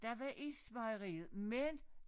Der var ismejeriet men